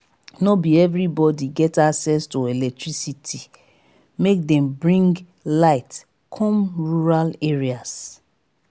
no be everybodi get access to electricity make dem bring light come rural areas.